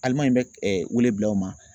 Alimaɲi bɛ ɛ wele bila aw ma.